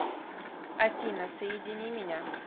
афина соедини меня